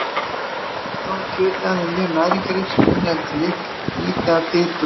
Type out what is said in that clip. Þá er kjötið af þeim mjög næringarríkt og inniheldur lítið af fitu og kólesteróli.